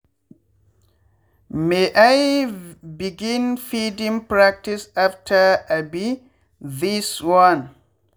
may i begin feeding pratice after um this one.